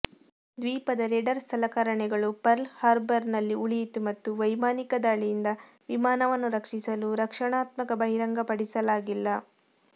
ದ್ವೀಪದ ರೇಡಾರ್ ಸಲಕರಣೆಗಳು ಪರ್ಲ್ ಹಾರ್ಬರ್ನಲ್ಲಿ ಉಳಿಯಿತು ಮತ್ತು ವೈಮಾನಿಕ ದಾಳಿಯಿಂದ ವಿಮಾನವನ್ನು ರಕ್ಷಿಸಲು ರಕ್ಷಣಾತ್ಮಕ ಬಹಿರಂಗಪಡಿಸಲಾಗಿಲ್ಲ